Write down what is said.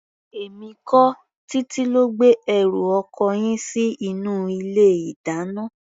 Èmi kọ́, Títí ló gbé ẹrù ọkọ yín sí inú ilé-ìdáná.